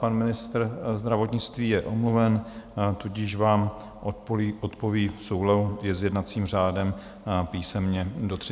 Pan ministr zdravotnictví je omluven, tudíž vám odpoví v souladu s jednacím řádem písemně do 30 dnů.